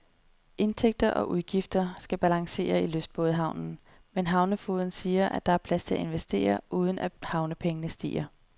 Indtægter og udgifter skal balancere i lystbådehavnen, men havnefogeden siger, at der er plads til at investere, uden at havnepengene stiger.